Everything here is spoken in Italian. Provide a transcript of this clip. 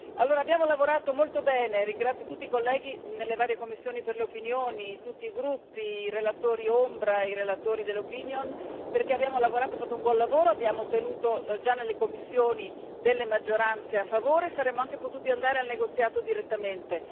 Allora, abbiamo lavorato molto bene ringrazio tutti i colleghi nelle varie commissioni per le opinioni, tutti i gruppi, i relatori ombra, i relatori dell'opinione, perché abbiamo fatto un buon lavoro, abbiamo ottenuto già nelle commissioni delle maggioranze a favore, e saremmo anche potuti andare al negoziato direttamente.